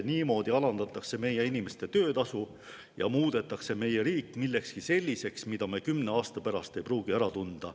Niimoodi alandatakse meie inimeste töötasu ja muudetakse meie riik millekski selliseks, mida me kümne aasta pärast ei pruugi ära tunda.